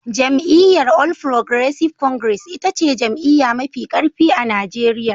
Jam'iyyar All Progressives Congress ita ce jam'iyya mafi karfi a Najeriya.